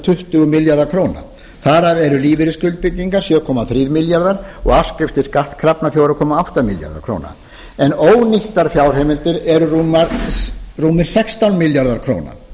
tuttugu milljarðar króna þar af eru lífeyrisskuldbindingar sjö komma þrír milljarðar króna og afskriftir skattkrafna fjóra komma átta milljarðar króna en ónýttar fjárheimildir eru rúmir sextán milljarðar króna